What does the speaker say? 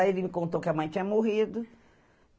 Aí ele me contou que a mãe tinha morrido.